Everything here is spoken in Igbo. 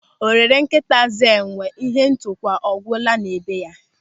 Ọ rere nkịta zụọ enwe, ịhe ntukwu ọ gwụla na be ya?